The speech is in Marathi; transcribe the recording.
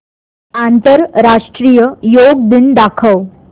आंतरराष्ट्रीय योग दिन दाखव